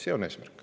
See on eesmärk.